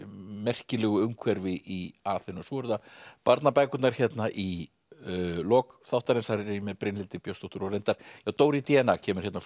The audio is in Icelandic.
merkilegu umhverfi í Aþenu svo eru það barnabækurnar í lok þáttarins þar er ég með Brynhildi Björnsdóttur Dóri d n a kemur hérna